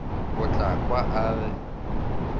o tla kwa a re